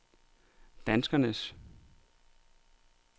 danskernes